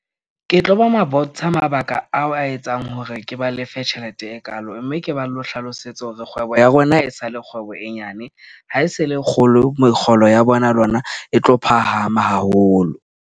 Ke tlo ba ma bontsha mabaka ao a etsang hore ke ba lefe tjhelete e kaalo. Mme ke ba lo hlalosetse hore kgwebo ya rona e sa le kgwebo e nyane ha e se le kgolo, mekgolo ya bona le yona e tlo phahama haholo.